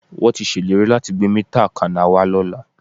Wọ́n tí ṣèlérí láti gbé mítà akaná wá lọ́la